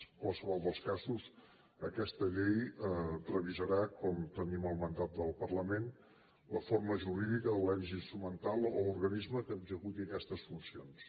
en qualsevol dels casos aquesta llei revisarà com tenim el mandat del parlament la forma jurídica de l’ens instrumental o organisme que executi aquestes funcions